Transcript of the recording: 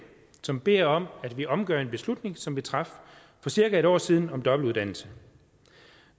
som beder om at vi omgør en beslutning som vi traf for cirka en år siden om dobbeltuddannelse